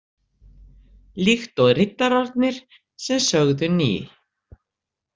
Líkt og riddararnir sem sögðu Ni!